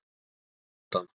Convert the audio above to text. Pabbi varð á undan.